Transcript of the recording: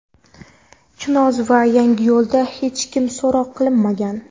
Chinoz va Yangiyo‘lda hech kim so‘roq qilinmagan.